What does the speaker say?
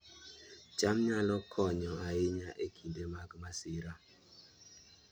cham nyalo konyo ahinya e kinde mag masira